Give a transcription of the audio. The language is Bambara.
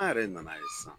An yɛrɛ nana ye sisan